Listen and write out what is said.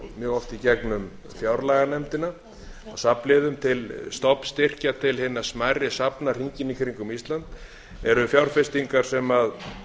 mjög oft í gegnum fjárlaganefndina af safnliðina til stofnstyrkja til hinna smærri safna hringinn í kringum ísland eru fjárfestingar sem